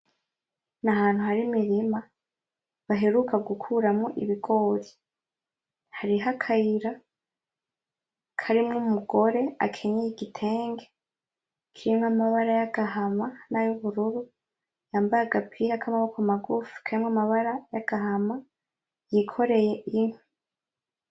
Nahantu hari Imirima baheruka gukuramwo ibigori hariho akayira karimwo umugore akenyeye igitenge kirimwo amabara y' agahama nayo ubururu yambaraye agapira k' amaboko magufi karimwo amabara y' agahama yikoreye inkwi.